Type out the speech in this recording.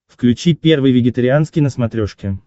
включи первый вегетарианский на смотрешке